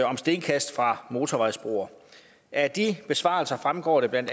om stenkast fra motorvejsbroer af de besvarelser fremgår det bla